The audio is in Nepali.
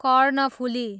कर्णफुली